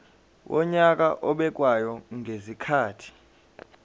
wonyaka obekwayo ngezikhathi